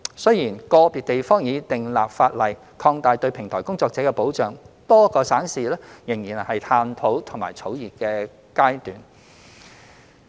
雖然個別地方已訂立法例擴大對平台工作者的保障，但多個省市則仍在探討及草擬階段。